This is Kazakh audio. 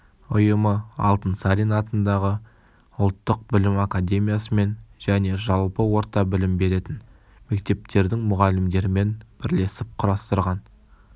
ұйымы алтынсарин атындағы ұлттық білім академиясымен және жалпы орта білім беретін мектептердің мұғалімдерімен бірлесіп құрастырған